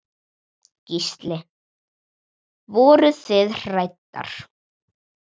Gísli: Voruð þið hræddar?